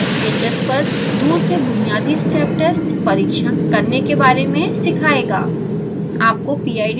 यह आपको sbhs पर दूर से बुनियादी step test परिक्षण करने के बारे में सीखाएगा